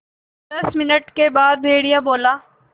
दस मिनट के बाद भेड़िया बोला